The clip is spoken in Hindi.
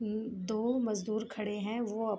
उम दो मजदुर खड़े हैं वह --